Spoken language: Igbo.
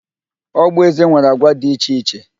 Ogboeze nwere agwa dị iche iche